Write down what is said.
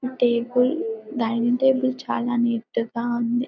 Table dining table చాలా నీట్ గా ఉంది.